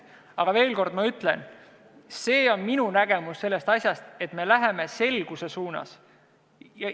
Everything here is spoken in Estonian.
Aga veel kord, ma ütlen, et see on minu nägemus asjast, et me läheme selguse suunas.